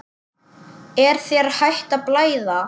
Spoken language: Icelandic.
Er þér hætt að blæða?